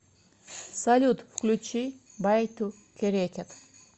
салют включи байтукерекед